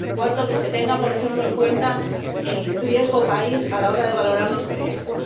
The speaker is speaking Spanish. Cuarto, que se tenga, por ejemplo, en cuenta el riesgo país a la hora de valorar los proyectos.